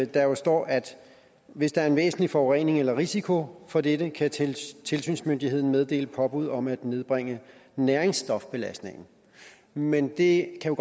der jo står at hvis der er en væsentlig forurening eller risiko for dette kan tilsynsmyndigheden meddele påbud om at nedbringe næringsstofbelastningen men det kan